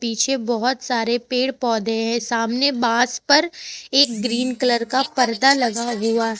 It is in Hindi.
पीछे बहुत सारे पेड़ पौधे हैं सामने बांस पर एक ग्रीन कलर का पर्दा लगा हुआ है।